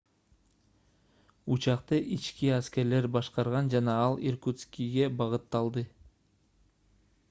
учакты ички аскерлер башкарган жана ал иркутскиге багытталды